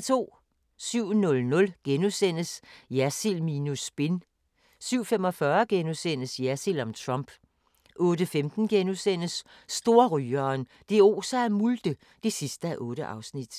07:00: Jersild minus spin * 07:45: Jersild om Trump * 08:15: Storrygeren – det oser af multe (8:8)*